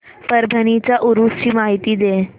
परभणी च्या उरूस ची माहिती दे